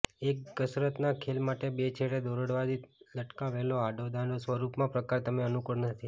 એક કસરતના ખેલ માટે બે છેડે દોરડાવતી લટકાવેલો આડો દાંડો સ્વરૂપમાં પ્રકાર તમે અનુકૂળ નથી